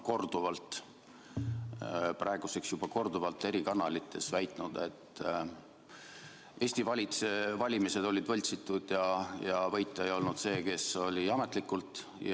Mart ja Martin Helme on praeguseks juba korduvalt eri kanalites väitnud, et Eesti valimised olid võltsitud ja võitja ei olnud see, kes seda ametlikult oli.